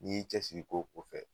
N' y'i cɛsigi ko ko fɛ.